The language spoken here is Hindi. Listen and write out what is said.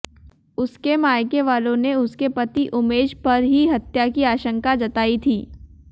उसके मायके वालों ने उसके पति उमेश पर ही हत्या की आशंका जताई थी